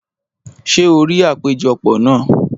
Ṣé o rí àpéjọpọ̀ náà?